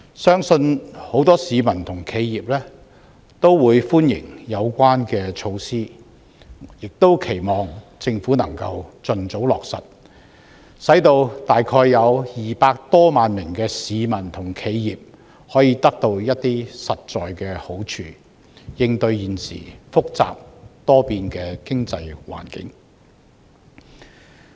相信很多市民和企業均會歡迎有關的措施，我亦期望政府能夠盡早落實，使大約200多萬名市民和企業可以得到一些實在的好處，應對現時複雜多變的經濟環境。